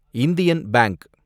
Indian bank